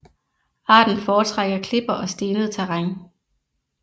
Arten foretrækker klipper og stenet terræn